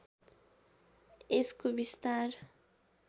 यसको विस्तार